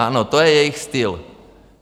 Ano, to je jejich styl.